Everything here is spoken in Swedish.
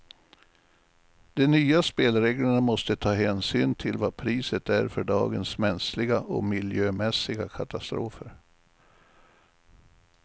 De nya spelreglerna måste ta hänsyn till vad priset är för dagens mänskliga och miljömässiga katastrofer.